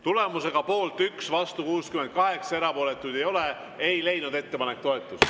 Tulemusega poolt 1, vastu 68, erapooletuid ei ole, ei leidnud ettepanek toetust.